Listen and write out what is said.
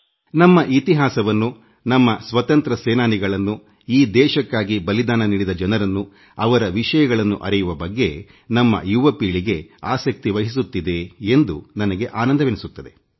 ನಮ್ಮ ಯುವ ಜನತೆ ದೇಶದ ಇತಿಹಾಸದ ಬಗ್ಗೆ ನಮ್ಮ ಸ್ವಾತಂತ್ರ್ಯ ಸೇನಾನಿಗಳ ಬಗ್ಗೆ ಈ ದೇಶಕ್ಕಾಗಿ ಬಲಿದಾನ ಮಾಡಿದ ಜನರ ಬಗ್ಗೆತಿಳಿಯುವ ಬಗ್ಗೆ ಆಸಕ್ತಿವಹಿಸುತ್ತಿದೆ ಎಂಬುದು ನನಗೆ ಸಂತೋಷವಾಗುತ್ತದೆ